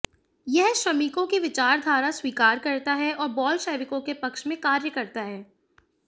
यह श्रमिकों की विचारधारा स्वीकार करता है और बोल्शेविकों के पक्ष में कार्य करता है